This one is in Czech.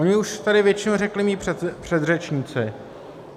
Oni už tady většinu řekli mí předřečníci.